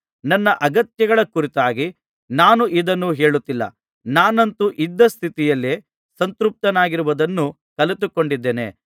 ನನ್ನ ಅಗತ್ಯಗಳ ಕುರಿತಾಗಿ ನಾನು ಇದನ್ನು ಹೇಳುತ್ತಿಲ್ಲ ನಾನಂತೂ ಇದ್ದ ಸ್ಥಿತಿಯಲ್ಲಿಯೇ ಸಂತೃಪ್ತನಾಗಿರುವುದನ್ನು ಕಲಿತುಕೊಂಡಿದ್ದೇನೆ